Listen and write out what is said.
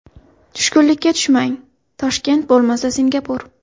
Tushkunlikka tushmang, Toshkent bo‘lmasa Singapur!